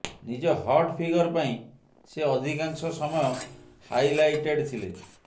ନିଜ hot figure ପାଇଁ ସେ ଅଧିକାଂଶ ସମୟ ହାଇଲାଇଟେଡ୍ ଥିଲେ